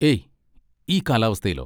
ഏയ്, ഈ കാലാവസ്ഥയിലോ?